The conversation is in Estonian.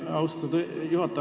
Austatud juhataja!